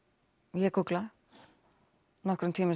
ég gúgla nokkrum tímum